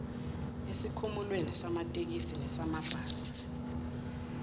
esikhumulweni samatekisi nesamabhasi